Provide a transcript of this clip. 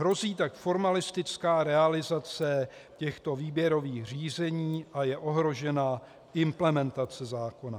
Hrozí tak formalistická realizace těchto výběrových řízení a je ohrožena implementace zákona.